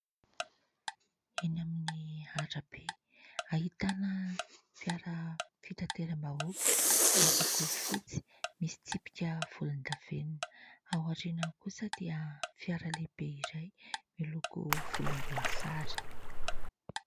Eny amin'ny arabe ahitana fiara fitateram-bahoaka miloko fotsy, misy tsipika volondavenona. Ao aoriana kosa dia fiara lehibe iray miloko volomboasary.